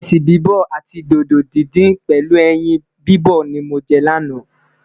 iresi bibọ àti dodo dindin pèlú ẹyìn bibọ ní mọ jẹ lana